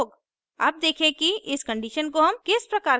अब देखें कि इस condition को हम किस प्रकार कार्यान्वित करते हैं